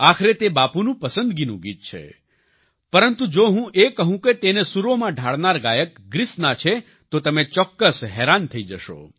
આખરે તે બાપૂનું પસંદગીનું ગીત છે પરંતુ જો હું એ કહું કે તેને સૂરોમાં ઢાળનારા ગાયક ગ્રીસના છે તો તમે ચોક્કસ હેરાન થઈ જશો